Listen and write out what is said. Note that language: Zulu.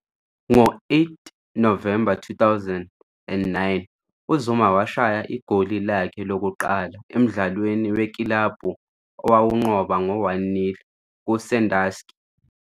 Ngo-8 Novemba 2009 uZuma washaya igoli lakhe lokuqala emdlalweni wekilabhu owawunqoba ngo-1-0 kuSønderjyskE.